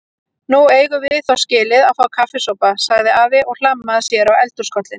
Nú eigum við þó skilið að fá kaffisopa sagði afi og hlammaði sér á eldhúskollinn.